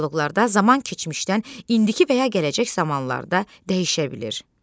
Dialoqlarda zaman keçmişdən indiki və ya gələcək zamanlara da dəyişə bilir.